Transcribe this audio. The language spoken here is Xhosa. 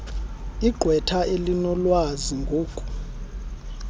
igqwetha elinolwazi ngoku